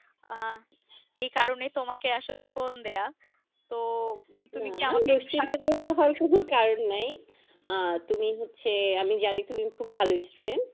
আহ এই কারণে তোমাকে আসলে phone দেয়া তো তুমি কি আমাকে একটু সাহায্য করতে পারো। দুশ্চিন্তা করার কোনো কারন নাই । আহ তুমি হচ্ছে আমি জানি তুমি খুব ভালো student